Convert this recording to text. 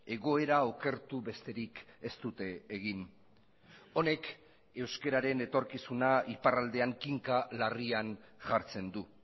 egoera okertu besterik ez dute egin honek euskararen etorkizuna iparraldean kinka larrian jartzen du